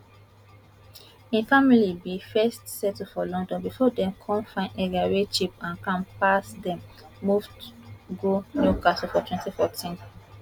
im family bin first settle for london bifor dem come find area wey cheap and calm pass dem move go newcastle for 2014